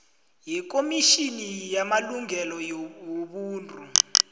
yekomitjhini yamalungelo wobuntu